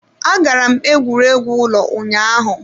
Agara m egwuregwu ụlọ ụnyaahụ.